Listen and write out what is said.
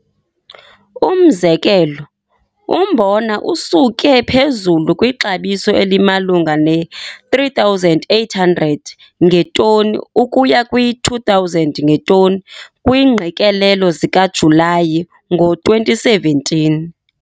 Umzekelo, umbona usuke phezulu kwixabiso elimalunga neR3 800 ngetoni ukuya kwiR2 000 ngetoni kwiingqikelelo zikaJulayi ngo-2017.